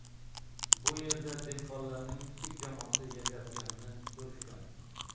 Bu yerda dehqonlarning kichik jamoasi yashayotganini ko‘rishgan.